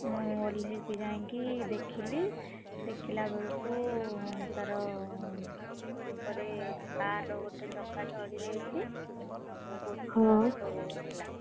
ମୁଁ ଓହ୍ଲେଇ କି ଯାଇଁକି ଦେଖିଲି, ଦେଖିଲା ବେଳକୁ ତାର, ଗୋଡ ଉପରେ car ର ଗୋଟେ ଚକା ଚଢିଯାଇଛି, ଆଉ ବହୁତ କଷ୍ଟ ହଉଥିଲା।